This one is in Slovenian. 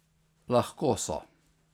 Lahko so.